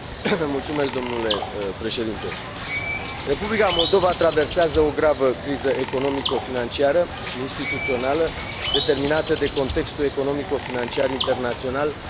Republica Moldova traversează o gravă criză economico financiară și instituțională, determinată de contextul economico financiar internațional, dar mai ales de 8 ani de guvernare comunistă.